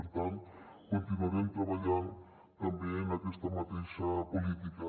per tant continuarem treballant també en aquesta mateixa política